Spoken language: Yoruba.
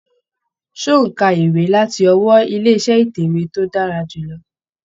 Ṣé ò ń ka ìwé láti ọwọ́ ilé iṣẹ́ ìtẹ̀wé tí ó dára jù lọ.